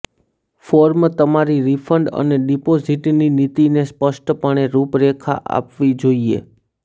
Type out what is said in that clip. form તમારી refund અને ડિપોઝિટની નીતિને સ્પષ્ટપણે રૂપરેખા આપવી જોઈએ